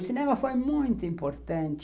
O cinema foi muito importante